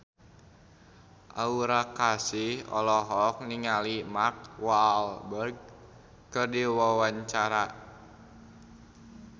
Aura Kasih olohok ningali Mark Walberg keur diwawancara